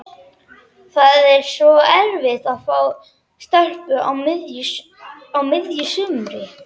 Það er svo erfitt að fá stelpu á miðju sumri.